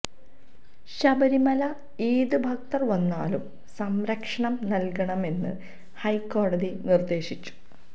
ശബരിമലയില് ഏത് ഭക്തര് വന്നാലും സംരക്ഷണം നല്കണമെന്ന് ഹൈക്കോടതി നിര്ദേശിച്ചു